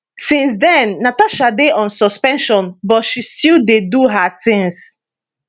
since den natasha dey on suspension but she still dey do her tins